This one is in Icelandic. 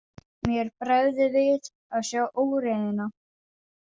Mér bregður við að sjá óreiðuna.